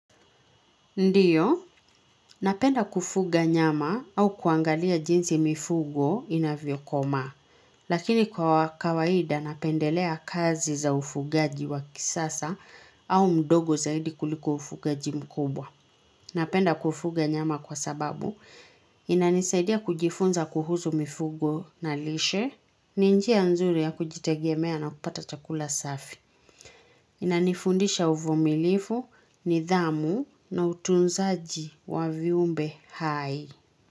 Ndiyo, napenda kufuga nyama au kuangalia jinsi mifugo inavyo komaa, lakini kwa kawaida napendelea kazi za ufugaji wa kisasa au mdogo zaidi kuliko ufugaji mkubwa. Napenda kufuga nyama kwa sababu, inanisaidia kujifunza kuhusu mifugo na lishe, ninjia nzuri ya kujitegemea na kupata chakula safi. Inanifundisha uvumilivu, nidhamu na utunzaji wa viumbe hai.